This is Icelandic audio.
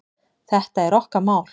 Þetta er okkar mál.